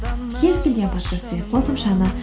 кез келген подкаст деген қосымшаны